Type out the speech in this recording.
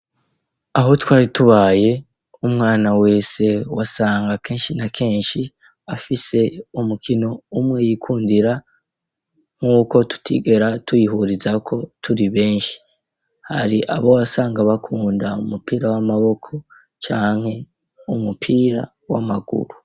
Aho twari tubaye umwana wese wasanga kenshi na kenshi afise umukino umwe yikundira nk'uko tutigera tuyihurizako turi benshi hari abo wasanga bakunda u mupira w'amaboko canke umupira w'amaguru.